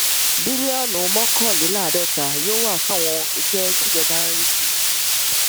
bílíọnù mọkànléláàádọta yóò wà fún àwọn iṣẹ tíjọba ń rí sí